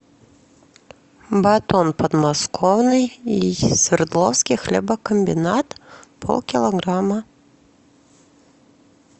батон подмосковный свердловский хлебокомбинат полкилограмма